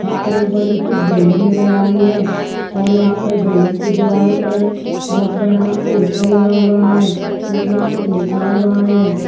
बड़ी सी बिल्डिंग नजर आ रही है और यहाँ बिल्डिंग की दीवारों पर बहुत बड़ा पोस्टर लगा हुआ है जिसमे कुछ लिखा हुआ है।